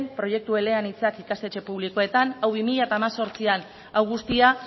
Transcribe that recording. proiektu eleanitzak ikastetxe publikoetan hau guztia